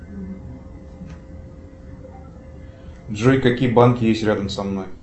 джой какие банки есть рядом со мной